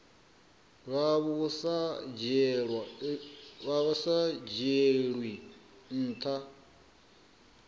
vha vhu sa dzhielwi nha